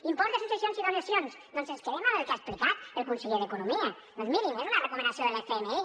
impost de successions i donacions doncs ens quedem amb el que ha explicat el conseller d’economia doncs mirin és una recomanació de l’fmi